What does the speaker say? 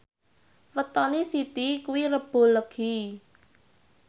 wetone Siti kuwi Rebo Legi